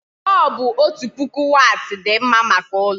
Bọlbụ otu puku wati dị mma maka ụlọ